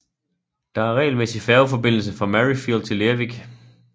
Der er regelmæssig færgeforbindelse fra Maryfield til Lerwick